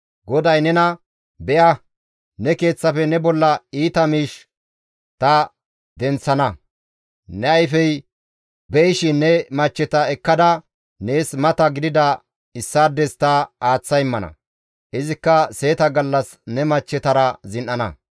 «GODAY nena, ‹Be7a ne keeththafe ne bolla iita miish ta denththana; ne ayfey be7ishin ne machcheta ekkada nees mata gidida issaades ta aaththa immana; izikka seeta gallas ne machchetara zin7ana.